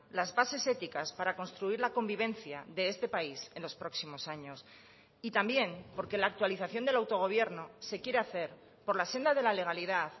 las bases éticas para construir la convivencia de este país en los próximos años y también porque la actualización del autogobierno se quiere hacer por la senda de la legalidad